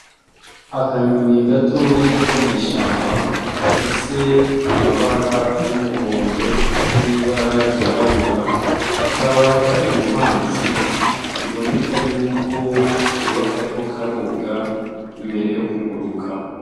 Akanyoni gatoyi ko mw'ishamba gafise amabara y'umuhondo n'ibara ryirabura kakaba kari mu mazi biboneka yuko koba kariko karoga mbere yo kuguruka.